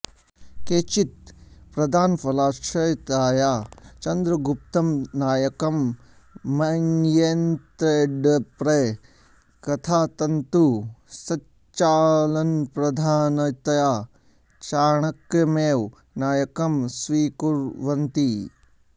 केचित् प्रधानफलाश्रयताया चन्द्रगुप्तं नायकं मन्येन्तेऽपरे कथातन्तुसञ्चालनप्रधानतया चाणक्यमेव नायकं स्वीकुर्वन्ति